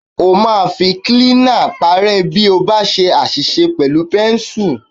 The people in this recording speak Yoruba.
O máa fi kílínà paárẹ́ bí o ba ṣe àṣìṣe pẹ̀lú pẹ́ńsù.